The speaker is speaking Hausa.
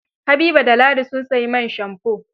Habiba da ladi, sun sayi man shamfo.